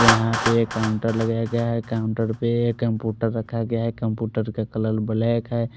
यहाँ पर एक काउंटर लगाया गया है काउंटर पे कंप्यूटर रखा गया है कंप्यूटर का कलर ब्लैक है।